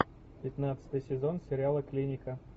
пятнадцатый сезон сериала клиника